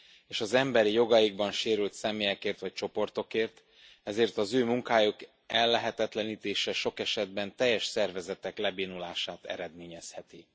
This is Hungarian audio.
és az emberi jogaikban sérült személyekért vagy csoportokért, ezért az ő munkájuk ellehetetlenítése sok esetben teljes szervezetek lebénulását eredményezheti.